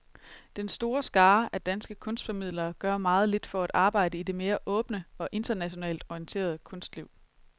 Den store skare af danske kunstformidlere gør meget lidt for at arbejde i det mere åbne og internationalt orienterede kunstliv.